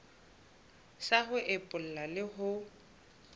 sa ho epolla le ho